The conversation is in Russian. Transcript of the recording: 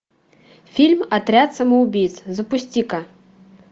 фильм отряд самоубийц запусти ка